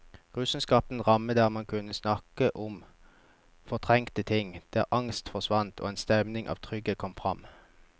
Rusen skapte en ramme der man kunne snakke om fortrengte ting, der angst forsvant og en stemning av trygghet kom fram.